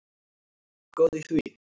Góð í því!